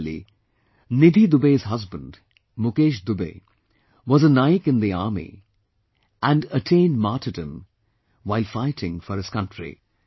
Similarly, Nidhi Dubey's husband Mukesh Dubey was a Naik in the army and attained martyrdom while fighting for his country